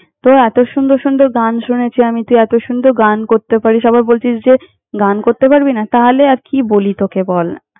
তোর এত সুন্দর সুন্দর গান শুনেছি আমি, তুই এত সুন্দর গান করতে পারিস আবার বলছিস যে, গান করতে পারবি না। তাহলে, আর কি বলি তোকে বল না!